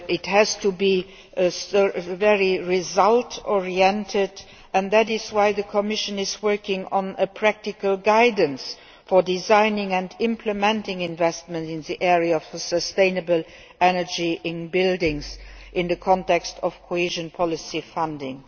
needs to be result oriented, and that is why the Commission is working on practical guidelines for designing and implementing investment in the area of sustainable energy in buildings in the context of cohesion policy funding.